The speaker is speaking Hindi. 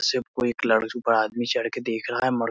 से कोई एक लड़ पर आदमी चढ़ के देख रहा है मर --